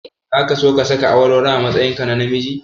Zaka so ka saka awarwaro a matsayinka na namiji?